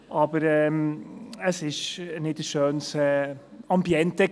Aber es war kein schönes Ambiente.